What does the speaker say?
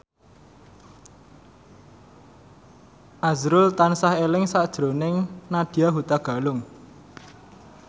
azrul tansah eling sakjroning Nadya Hutagalung